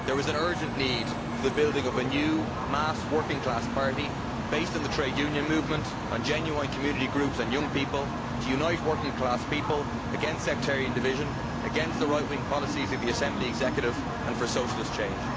There is an urgent need for the building of a new mass working class party, based on the trade union movement and genuine community groups and young people, to unite working class people against sectarian division, against the right wing policies of the Assembly Executive and for socialist change.